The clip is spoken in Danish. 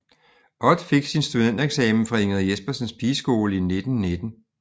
Ott fik sin studentereksamen fra Ingrid Jespersens Pigeskole i 1919